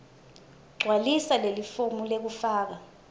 gcwalisa lelifomu lekufaka